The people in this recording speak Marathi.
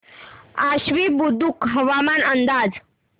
आश्वी बुद्रुक हवामान अंदाज